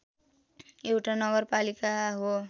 एउटा नगरपालिका हो